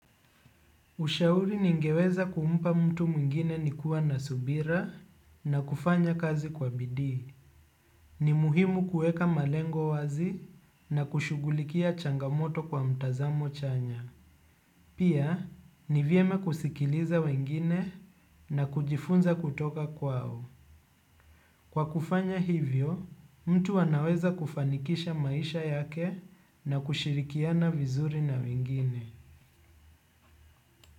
Ushauri ningeweza kumpa mtu mwingine ni kuwa na subira, na kufanya kazi kwa bidii. Ni muhimu kuweka malengo wazi na kushughulikia changamoto kwa mtazamo chanya. Pia, ni vyema kusikiliza wengine na kujifunza kutoka kwao. Kwa kufanya hivyo, mtu wanaweza kufanikisha maisha yake na kushirikiana vizuri na wengine.